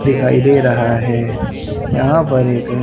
दिखाई दे रहा है यहां पर एक--